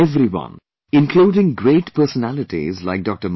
Everyone including great personalities like Dr